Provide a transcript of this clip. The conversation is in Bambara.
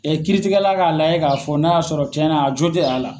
Ɛɛ kiiritigɛla ka lajɛ ka fɔ n'a ya sɔrɔ tiɲɛna a jo t'a la.